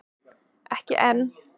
Ekki enn!